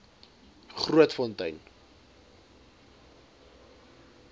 grootfontein